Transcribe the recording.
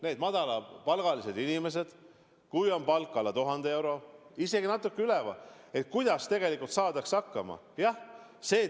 Kuidas madalapalgalised inimesed, kui nende palk on alla 1000 euro või natuke üle selle, tegelikult hakkama saavad?